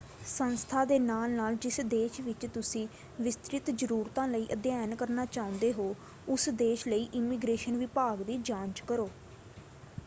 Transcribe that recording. ਸੰਸਥਾ ਦੇ ਨਾਲ-ਨਾਲ ਜਿਸ ਦੇਸ਼ ਵਿੱਚ ਤੁਸੀਂ ਵਿਸਤ੍ਰਿਤ ਜ਼ਰੂਰਤਾਂ ਲਈ ਅਧਿਐਨ ਕਰਨਾ ਚਾਹੁੰਦੇ ਹੋ ਉਸ ਦੇਸ਼ ਲਈ ਇਮੀਗ੍ਰੇਸ਼ਨ ਵਿਭਾਗ ਦੀ ਜਾਂਚ ਕਰੋ।